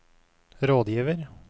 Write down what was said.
rådgiver